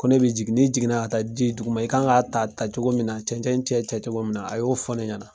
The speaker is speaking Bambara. Ko ne be jigin, ne jiginna ka taa ji ye duguma. I kan k'a ta tacogo min na, cɛncɛn cɛ cɛ cogo min na, a y'o fɔ ne ɲɛna.